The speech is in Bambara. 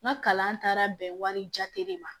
N ka kalan taara bɛn wari jate de ma